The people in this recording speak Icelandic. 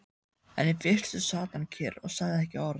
En í fyrstu sat hann kyrr og sagði ekki orð.